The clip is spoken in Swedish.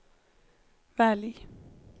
välj